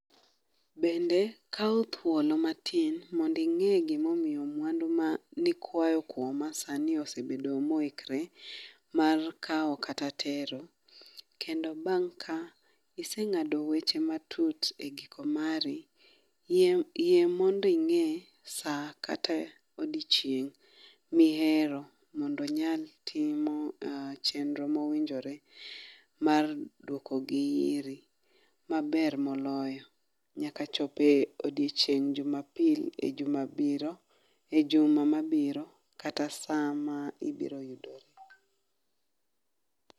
Bende kaw thuolo matin mondo ing'e gimomiyo mwandu ma nikwayo kuoma sani osebedo moikre mar kawo kata tero. Kendo bang' ka iseng'ado weche matut e giko mari, yie yie mondi ing'e saa kata odichieng' mihero mondo onyal timo um chenro mowinjore mar duoko gi iiri maber moloyo. Nyaka chope odiechieng' jumapil e jumabiro, e juma mabiro kata saa ma ibiro